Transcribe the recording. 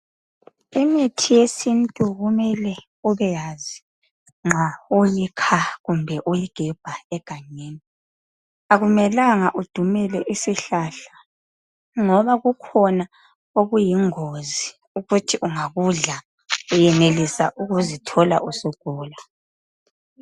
Imithi yesintu kumele ubeyazi nxa uyikha kumbe uyigebha egangeni. Akumelanga udumele isihlahla ngoba kukhona okuyingozi ukuthi ungakudla uyenelisa ukuzithola usugula.